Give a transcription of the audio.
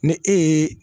Ni e ye